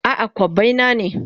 A'a, kobbai na ne.